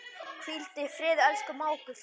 Hvíldu í friði, elsku mágur.